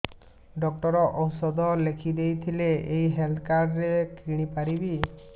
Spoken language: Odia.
ଡକ୍ଟର ଔଷଧ ଲେଖିଦେଇଥିଲେ ଏଇ ହେଲ୍ଥ କାର୍ଡ ରେ କିଣିପାରିବି